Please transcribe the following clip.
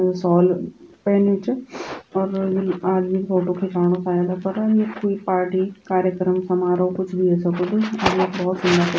शॉल पैन्यू च और यू आदमी फोटु खिचाणू शायद अपर यख क्वि पार्टी कार्यक्रम समारोह कुछ भी ह्वे सकुद और यु भौत --